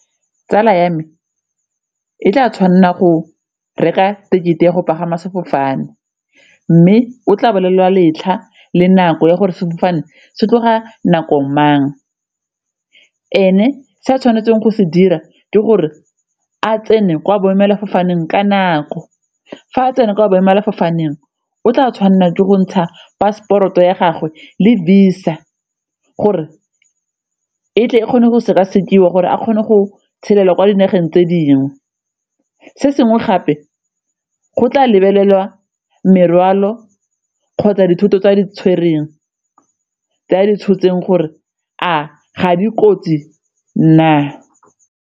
Tsala ya me e tla tshwanela go reka tekete ya go pagama sefofane mme o tla bolelelwa letlha le nako ya gore sefofane se tloga nako mang. Ene se a tshwanetseng go se dira ke gore a tsene kwa boemelafofaneng ka nako, fa tsena kwa boemela fofaneng o tla tshwanela ke go ntsha passport-o ya gagwe le Visa gore e tle e kgone go sekasekiwa gore a kgone go tshelela kwa dinageng tse dingwe. Se sengwe gape go tla lebelelwa morwalo kgotsa dithoto tse a di tshotseng gore a ga dikotsi na.